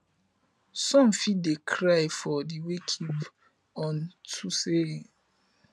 som fit dey cry for di wakekeep on to sey dem sabi di pesin